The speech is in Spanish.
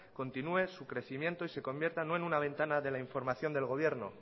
continúe su crecimiento y se convierta no en una ventana de la información del gobierno